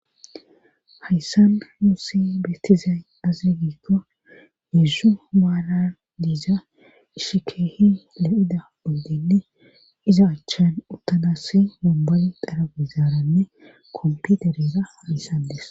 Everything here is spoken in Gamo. hayssan musi beettizay azegiikko heezzu waala diiza ishikeehi le7ida oddenne iza achchan uttanassi momboli dara bizaaranne komputereza hamissadis